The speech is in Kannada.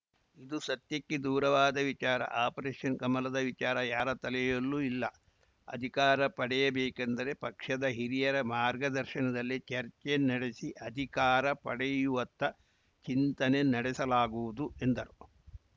ಇದು ಸತ್ಯಕ್ಕೆ ದೂರವಾದ ವಿಚಾರ ಆಪರೇಷನ್‌ ಕಮಲದ ವಿಚಾರ ಯಾರ ತಲೆಯಲ್ಲೂ ಇಲ್ಲ ಅಧಿಕಾರ ಪಡೆಯಬೇಕೆಂದರೆ ಪಕ್ಷದ ಹಿರಿಯರ ಮಾರ್ಗದರ್ಶನದಲ್ಲಿ ಚರ್ಚೆ ನಡೆಸಿ ಅಧಿಕಾರ ಪಡೆಯುವತ್ತ ಚಿಂತನೆ ನಡೆಸಲಾಗುವುದು ಎಂದರು